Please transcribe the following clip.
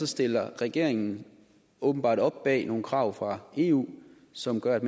stiller regeringen åbenbart op bag nogle krav fra eu som gør at